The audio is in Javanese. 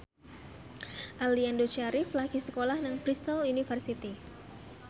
Aliando Syarif lagi sekolah nang Bristol university